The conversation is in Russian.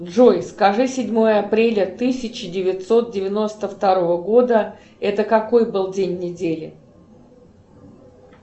джои скажи седьмое апреля тысяча девятьсот девяносто второго года это какой был день недели